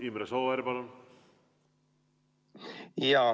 Imre Sooäär, palun!